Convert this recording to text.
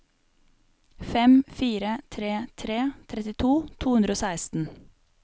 fem fire tre tre trettito to hundre og seksten